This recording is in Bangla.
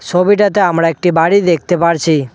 ছবিটাতে আমরা একটি বাড়ি দেখতে পারছি।